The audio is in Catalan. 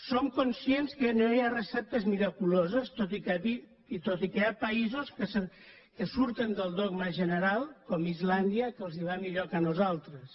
som conscients que no hi ha receptes miraculoses tot i que hi ha països que surten del dogma general com islàndia que els va millor que a nosaltres